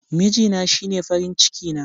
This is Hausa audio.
Mijina shine farin ciki na.